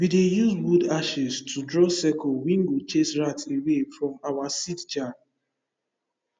we dey use wood ashes to draw circle wey go chase rat away from from seed jar